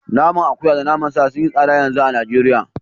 Naman akuya da naman sa sun yi tsada yanzu a Najeriya